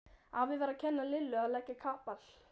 Afi var að kenna Lillu að leggja kapal.